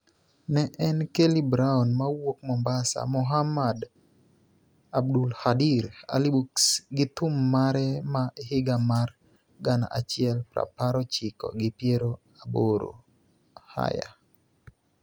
ne en Kelly Brown mawuok Mombasa (Mohammed Abdulkadir Ali Bux) gi thum mare ma higa mar gana achiel prapar ochiko gi piero aboro, Higher